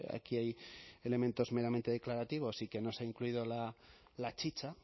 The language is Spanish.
aquí hay elementos meramente declarativos sí que no se ha incluido la chicha